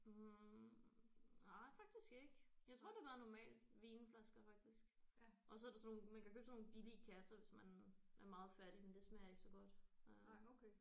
Hm nej faktisk ikke jeg tror det har været normale vinflasker faktisk og så er det sådan nogle man kan købe sådan nogle billige kasser hvis man er meget fattig men det smager ikke så godt øh